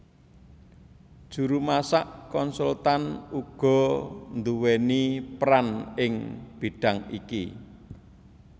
Juru masak konsultan uga nduwèni peran ing bidhang iki